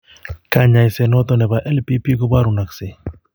Kanyaiset noton nebo LPP kobarunaksei